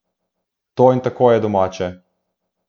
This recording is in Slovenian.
To in tako je domače!